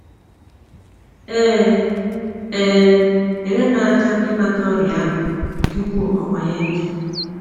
E um nyere m aka ịmata ọrịa ahụ tupu ọkwanye njọ.”